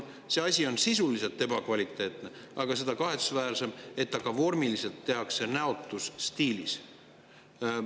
See asi on sisuliselt ebakvaliteetne, aga seda kahetsusväärsem, et seda ka vormiliselt tehakse näotus stiilis.